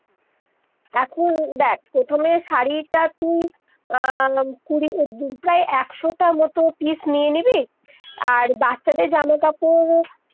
এখন দেখ প্রথমে দেখ শাড়ি তা তুই আহ কুড়ি প্রায় একশো তা মতো পীস নিয়ে নিবি আর বাচ্চাদের জামা কাপড়-